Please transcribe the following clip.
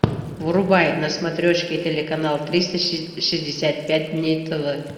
врубай на смотрешке телеканал триста шестьдесят пять дней тв